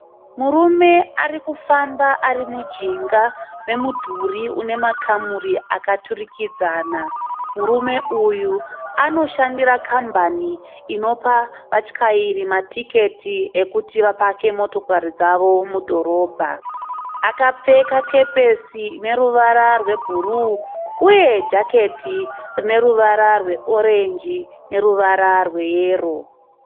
Murume ari kufamba ari mujinga memudhuri une makamuri akaturikidzana. Murume uyu anoshandira kambani inopa vatyairi matiketi ekuti vapake motokari dzavo mukati medhorobha. Akapfeka kepesi ine ruvara rweburuu uye nejaketi rine ruvara weranjisi neruvara rweyero.